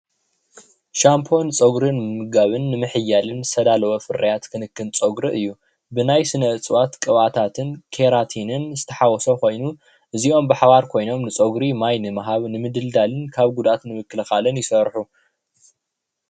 ካብ ውፅኢት ኣትክልቲ ምዃኑ ዝእመነሉ መሕፀቢ ፀጉሪ እዩ።